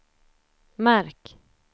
märk